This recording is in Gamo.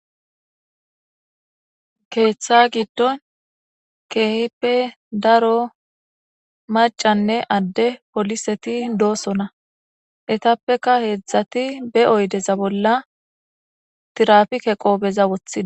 Keeththa giddon keehipe daro macanne adde poliseti doosona etappeka heedzdzati be oydeza bolla tirafike qoobeza wothida.